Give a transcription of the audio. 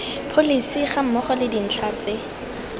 pholesi gammogo le dintlha tse